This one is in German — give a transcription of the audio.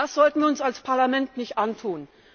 Das sollten wir uns als Parlament nicht antun.